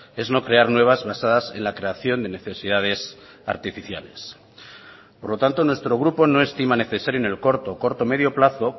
es no crear nuevas basadas en la creación de necesidades artificiales por lo tanto nuestro grupo no estima necesario en el corto corto medio plazo